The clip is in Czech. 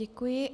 Děkuji.